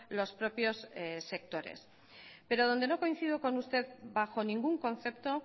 los propios sectores pero donde no coincido con usted bajo ningún concepto